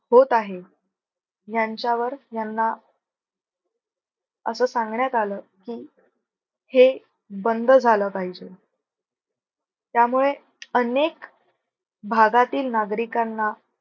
होत आहे ह्यांच्यावर ह्यांना असं सांगण्यात आलं की, हे बंद झालं पाहिजे. त्यामुळे अनेक भागातील नागरिकांना